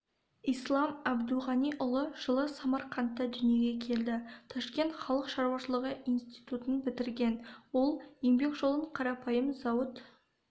ислам абдуғаниұлы жылы самарқандта дүниеге келді ташкент халық шаруашылығы институтын бітірген ол еңбек жолын қарапайым зауыт